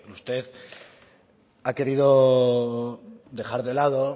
usted ha querido dejar de lado